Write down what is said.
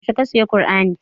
Yaushe ka saya kur'ani?